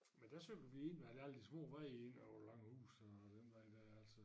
Men der cyklede vi ind ved alle de små veje inde over Langehuse og den vej dér altså